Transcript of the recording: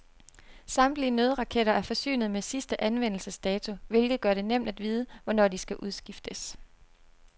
Samtlige nødraketter er forsynet med sidste anvendelsesdato, hvilket gør det nemt at vide, hvornår de skal udskiftes.